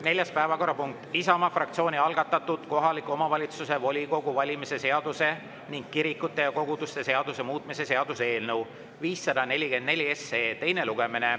Neljas päevakorrapunkt: Isamaa fraktsiooni algatatud kohaliku omavalitsuse volikogu valimise seaduse ning kirikute ja koguduste seaduse muutmise seaduse eelnõu 544 teine lugemine.